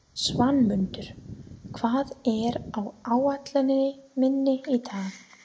Svanmundur, hvað er á áætluninni minni í dag?